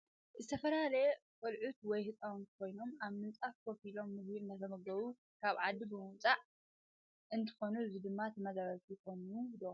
ዝተፈላለዪ ቀሉዑት ወይ ህፃውንት ኮይኖም አብ ምንፃፋ ከፋ ኢሎም ምግብ እንትምገቡ ካብ ዓዲ ብምውፃእ ዘለው አንትኮኑ እዚ ድማ ተመዛበልቲ ይኮኑ ዶ?